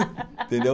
Entendeu?